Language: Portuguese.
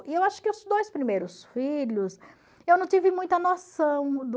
E eu acho que os dois primeiros filhos, eu não tive muita noção